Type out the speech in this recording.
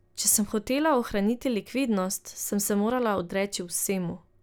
Če sem hotela ohraniti likvidnost, sem se morala odreči vsemu ...